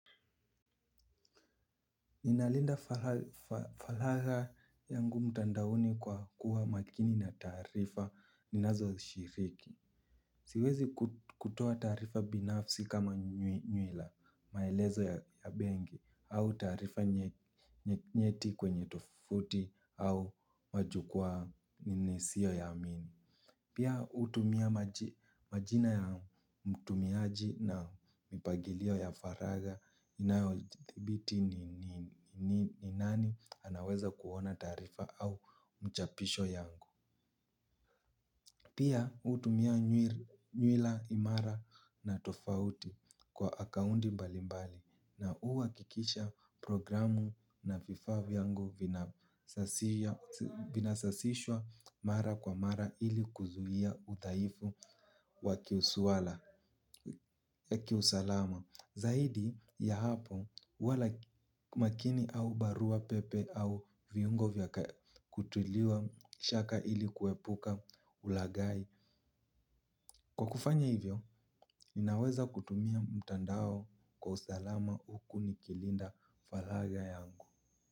Inalinda falaga yangu mtandaoni kwa kuwa makini na taarifa ninazo shiriki. Siwezi kutua taarifa binafsi kama nywila, maelezo ya bengi, au taarifa nyeknieti kwenye tufuti au majukua ni nisio yaamini. Pia utumia majina ya mtumiaji na mipagilio ya faraga inayothibiti ni nani anaweza kuona taarifa au mchapisho yangu. Pia hutumia nywila imara na tofauti kwa akaunti mbali mbali na uwakikisha programu na vifaa vyangu vinasasishwa mara kwa mara ili kuzuhia udhaifu wakiuswala yaki usalama, zaidi ya hapo huwa makini au barua pepe au viungo vya kutiliwa shaka ili kuepuka ulagai. Kwa kufanya hivyo, ninaweza kutumia mtandao kwa usalama huku nikilinda falaga yangu.